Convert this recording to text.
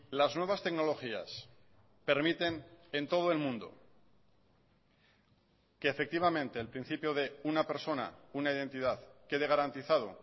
las nuevas tecnologías permiten en todo el mundo que efectivamente el principio de una persona una identidad quede garantizado